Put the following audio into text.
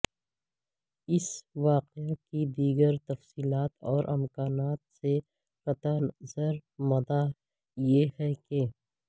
اس واقعے کی دیگر تفصیلات اور امکانات سے قطع نظر مدعا یہ ہیکہ